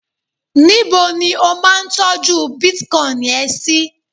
níbo ni o ma n tọju bitcoin ẹ sí